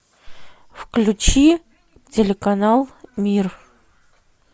включи телеканал мир